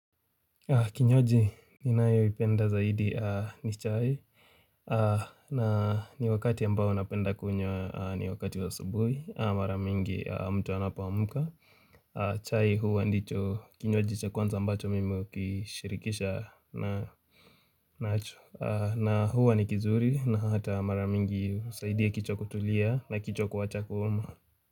Kinywaji, ninayo ipenda zaidi ni chai na ni wakati ambao napenda kunywa ni wakati wa subuhi, mara mingi mtu anapoamka chai huwa ndicho kinywaji cha kwanza mbacho mimi hukishirikisha nacho na huwa ni kizuri na hata maraa mingi husaidia kichwa kutulia na kichwa kuwacha kuuma.